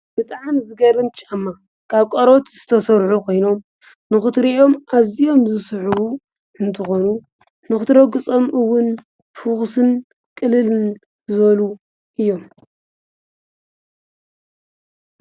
ብጥዓን ዝገርን ጫማ ቃብ ቈርበት ዝተሠርሑ ኾይኖም ንኽትርእኦም ኣዚኦም ዝስሑ እንተኾኑ ንኽትረጕ ጸምኡውን ፍኹስን ቕልልን ዘሉ እዮም።